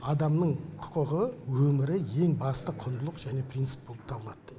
адамның құқығы өмірі ең басты құндылық және принцип болып табылады